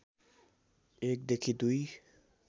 एक देखि दुई